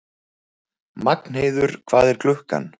Magnheiður, hvað er klukkan?